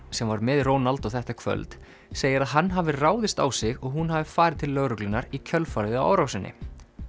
sem var með Ronaldo þetta kvöld segir að hann hafi ráðist á sig og hún hafi farið til lögreglunnar í kjölfarið á árásinni